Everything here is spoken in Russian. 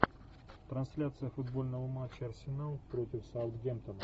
трансляция футбольного матча арсенал против саутгемптона